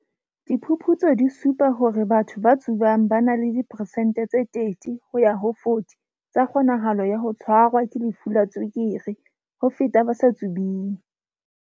Diphuputso di supa hore batho ba tsubang ba na le di peresente tse 30 ho ya ho 40 tsa kgonahalo ya ho tshwa rwa ke lefu la tswekere ho feta ba sa tsubeng.